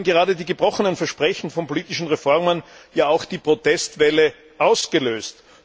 Schließlich haben gerade die gebrochenen Versprechen von politischen Reformen die Protestwelle ausgelöst.